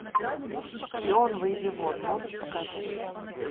шпион выйди вон можешь показать